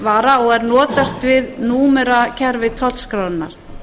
vara og er notast við númerakerfi tollskrárinnar